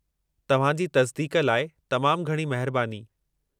तव्हां जी तसिदीक़ लाइ तमामु घणी महिरबानी।